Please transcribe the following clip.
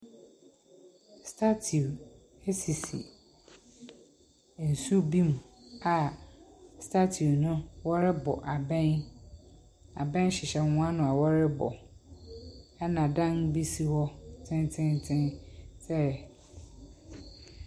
Statue bi sisi nsu bi mu a statue no wɔrebɔ abɛn. Abɛn hyehyɛ wɔn ano a wɔrebɔ a dan bi si wɔn akyi tententen sɛ .